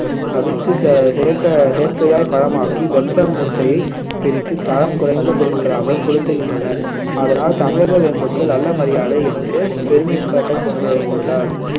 அவித்து செ~ செயற்கை செயற்கையாய் பழமாக்கி வெப்ப முத்தை பிரித்து தரம் குறைந்த பொருட்களாகக் கொடுத்துகின்றனர் அதனால் தமிழக வேம்புக்கு நல்ல மரியாதை என்று பெருமைப்பட்டுக் கொண்டு கொண்டார்